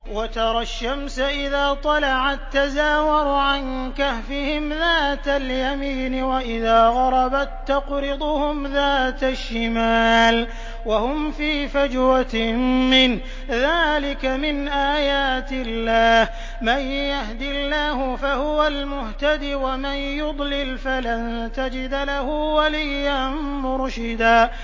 ۞ وَتَرَى الشَّمْسَ إِذَا طَلَعَت تَّزَاوَرُ عَن كَهْفِهِمْ ذَاتَ الْيَمِينِ وَإِذَا غَرَبَت تَّقْرِضُهُمْ ذَاتَ الشِّمَالِ وَهُمْ فِي فَجْوَةٍ مِّنْهُ ۚ ذَٰلِكَ مِنْ آيَاتِ اللَّهِ ۗ مَن يَهْدِ اللَّهُ فَهُوَ الْمُهْتَدِ ۖ وَمَن يُضْلِلْ فَلَن تَجِدَ لَهُ وَلِيًّا مُّرْشِدًا